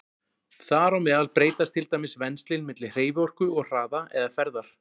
Þar á meðal breytast til dæmis venslin milli hreyfiorku og hraða eða ferðar.